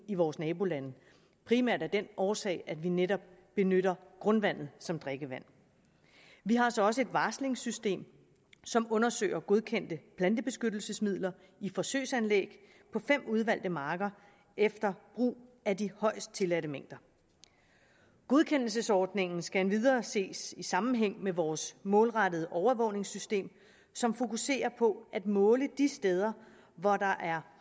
i vore nabolande primært af den årsag at vi netop benytter grundvandet som drikkevand vi har så også et varslingssystem som undersøger godkendte plantebeskyttelsesmidler i forsøgsanlæg på fem udvalgte marker efter brug af de højest tilladte mængder godkendelsesordningen skal endvidere ses i sammenhæng med vores målrettede overvågningssystem som fokuserer på at måle de steder hvor der er